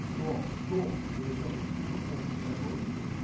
стоп стоп я сейчас услышал он наш огонь